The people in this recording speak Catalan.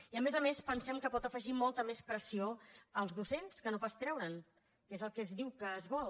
i a més a més pensem que pot afegir molta més pressió als docents que no pas treure’n que és el que es diu que es vol